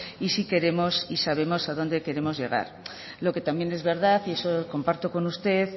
y sí queremos y sabemos a dónde queremos llegar lo que también es verdad y eso comparto con usted